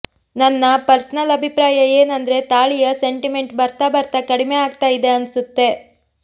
ನನ್ನ ಪರ್ಸನಲ್ ಅಭಿಪ್ರಾಯ ಏನಂದ್ರೆ ತಾಳಿಯ ಸೆಂಟಿಮೆಂಟ್ ಬರ್ತಾ ಬರ್ತಾ ಕಡಿಮೆ ಆಗ್ತಾ ಇದೆ ಅನ್ಸುತ್ತೆ